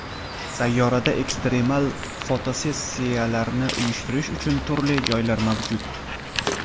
Sayyorada ekstremal fotosessiyalarni uyushtirish uchun turli joylar mavjud.